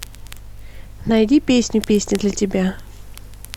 найди песню песня для тебя